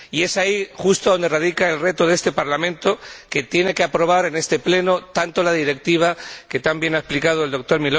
Y es ahí justo donde radica el reto de este Parlamento, que tiene que aprobar en este Pleno tanto la Directiva, que tan bien ha explicado el Dr.